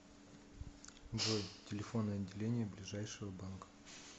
джой телефоны отделения ближайшего банка